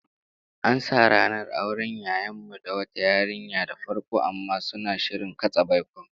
An sa ranar auren yayan mu da wata yarinya da farko, amma suna shirin katse baikon